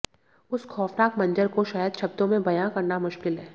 उस खौफनाक मंजर को शायद शब्दों में बयां करना मुश्किल है